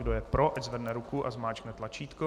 Kdo je pro ať zvedne ruku a zmáčkne tlačítko.